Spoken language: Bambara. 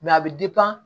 a bɛ